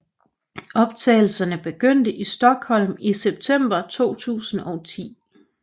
Optagelserne begyndte i Stockholm i september 2010